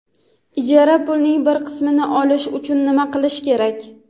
Ijara pulining bir qismini olish uchun nima qilish kerak?.